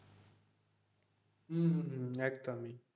হম হম একদম ই,